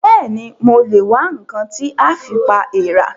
Bẹ́ẹ̀ni, mo lè wá ǹkan tí a fi pa èèrà